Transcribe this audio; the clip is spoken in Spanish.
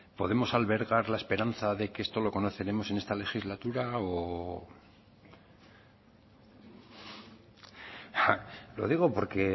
podemos albergar la esperanza de que esto lo conoceremos en esta legislatura o lo digo porque